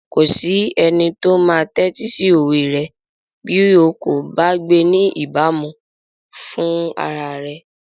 Kò sí ẹnikẹ́ni tó máa tẹ́tí sí òwe rẹ bí o kò bá gbé ní ìbámu rẹ̀ fúnra rẹ.